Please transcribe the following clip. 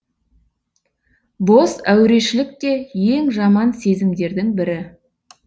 бос әурешілік те ең жаман сезімдердің бірі